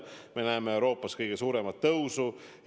Me näeme Euroopas kõige suuremat tõusu.